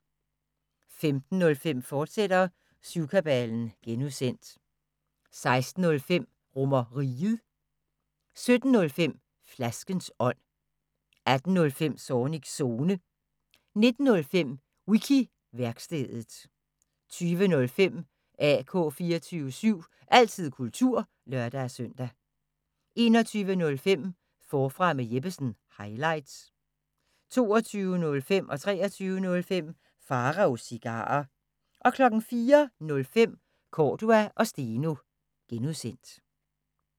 15:05: Syvkabalen (G), fortsat 16:05: RomerRiget 17:05: Flaskens ånd 18:05: Zornigs Zone 19:05: Wiki-værkstedet 20:05: AK 24syv – altid kultur (lør-søn) 21:05: Forfra med Jeppesen – highlights 22:05: Pharaos Cigarer 23:05: Pharaos Cigarer 04:05: Cordua & Steno (G)